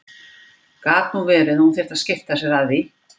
Gat nú verið að hún þyrfti að skipta sér af því!